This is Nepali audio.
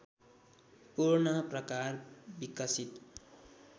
पूर्ण प्रकार विकसित